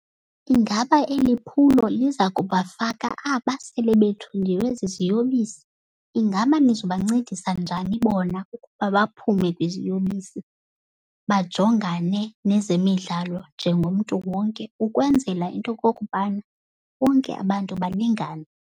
Ingaba eli phulo liza kubafaka aba sele bethungiwe ziziyobisi? Ingaba nizobancedisa njani bona ukuba baphume kwiziyobisi, bajongane nezemidlalo njengomntu wonke ukwenzela into yokokubana bonke abantu balingane.